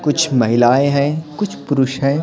कुछ महिलाएं हैं कुछ पुरुष हैं।